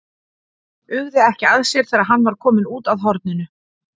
Uggði ekki að sér þegar hann var kominn út að horninu.